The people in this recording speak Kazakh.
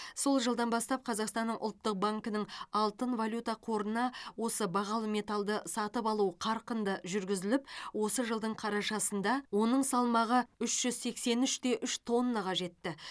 сол жылдан бастап қазақстанның ұлттық банкінің алтын валюта қорына осы бағалы металды сатып алу қарқынды жүргізіліп осы жылдың қарашасында оның салмағы үш жүз сексен үш те үш тоннаға жетті